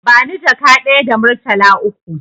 Bani jaka ɗaya da murtala uku